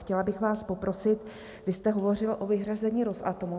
Chtěla bych vás poprosit, vy jste hovořil o vyřazení Rosatomu.